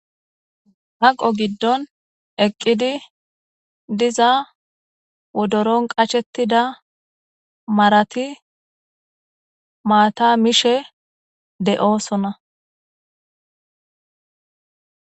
haqo giddon eqqidi diza wodoron qacshetida marati maata mishe de7oosona